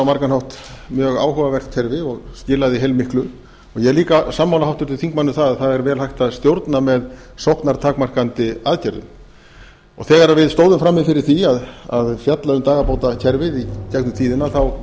á margan hátt mjög áhugavert kerfi og skilaði heilmiklu ég er líka sammála háttvirtum þingmanni um það að það er vel hægt að stjórna með sóknartakmarkandi aðgerðum þegar við stóðum frammi fyrir því að fjalla um dagabátakerfið í gegnum tíðina vorum